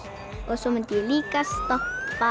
svo myndi ég líka stoppa